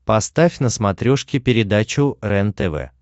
поставь на смотрешке передачу рентв